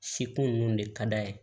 Sekun ninnu de ka d'a ye